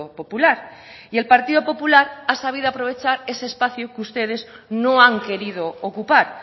popular y el partido popular ha sabido aprovechar ese espacio que ustedes no han querido ocupar